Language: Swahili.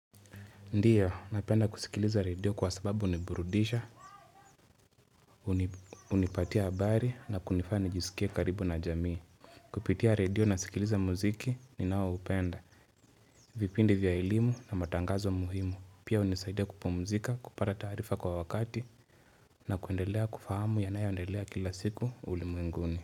Ndiyo, napenda kusikiliza radio kwa sababu huniburudisha, hunipatia habari na kunifanya nijisikia karibu na jamii. Kupitia radio nasikiliza muziki ni nao upenda, vipindi vya elimu na matangazo muhimu. Pia hunisaidia kupumzika, kupata taarifa kwa wakati na kuendelea kufahamu yanayoendelea kila siku ulimwenguni.